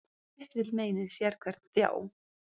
Sitt vill meinið sérhvern þjá.